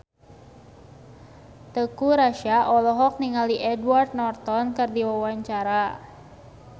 Teuku Rassya olohok ningali Edward Norton keur diwawancara